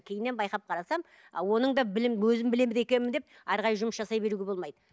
кейіннен байқап қарасам оның да білім өзім біледі екенмін деп әрі қарай жұмыс жасай беруге болмайды